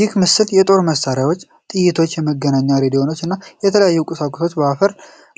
ይህ ምስል የጦር መሳሪያዎችን፣ ጥይቶችን፣ የመገናኛ ሬዲዮዎችን እና የተለያዩ ቁሳቁሶችን በአፈር